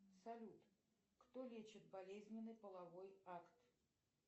салют кто лечит болезненный половой акт